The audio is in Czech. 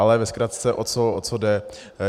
Ale ve zkratce, o co jde.